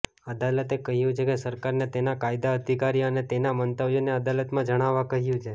અદાલતે કહ્યું છે કે સરકારને તેના કાયદા અધિકારી અને તેના મંતવ્યોને અદાલતમાં જણાવવા કહ્યું છે